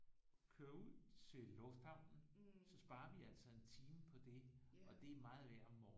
Køre ud til lufthavnen så sparer vi altså en time på det og det er meget værd om morgenen